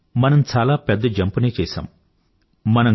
అంటే మనం చాలా పెద్ద జంప్ నే చేశాము